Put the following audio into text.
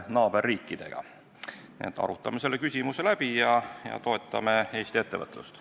Nii et arutame selle küsimuse läbi ja toetame Eesti ettevõtlust.